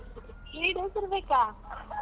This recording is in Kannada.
Three days ಇರಬೇಕಾ?